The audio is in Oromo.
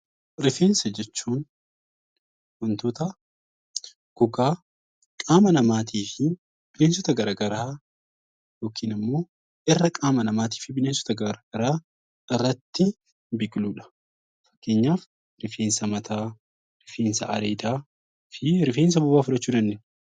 Rifeensa jechuun wantoota gogaa qaama namaa fi bineensota garagaraa yookiin immoo irra qaama namaa fi bineensota garagaraa irratti biqiludha. Fakkeenyaaf rifeensa mataa, rifeensa areedaa fi rifeensa bobaa Jalaa fudhachuu dandeenya.